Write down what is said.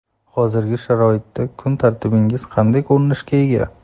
Hozirgi sharoitda kun tartibingiz qanday ko‘rinishga ega?